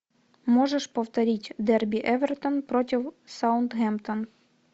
можешь повторить дерби эвертон против саутгемптон